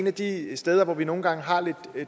af de steder hvor vi nogle gange har lidt